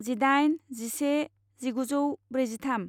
जिदाइन जिसे जिगुजौ ब्रैजिथाम